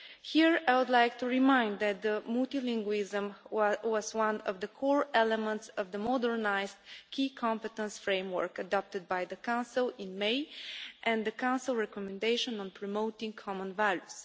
Here, I would like to remind you that multilingualism was one of the core elements of the modernised Key Competence Framework adopted by the Council in May and the Council recommendation on promoting common values.